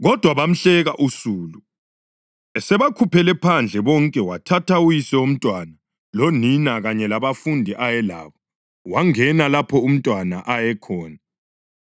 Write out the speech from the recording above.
Kodwa bamhleka usulu. Esebakhuphele phandle bonke wathatha uyise womntwana lonina kanye labafundi ayelabo wangena lapho umntwana ayekhona.